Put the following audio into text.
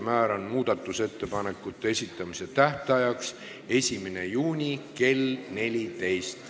Määran muudatusettepanekute esitamise tähtajaks 1. juuni kell 14.